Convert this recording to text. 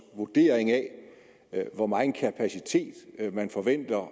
vurdering af hvor megen kapacitet man forventer